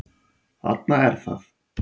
Þarna er það!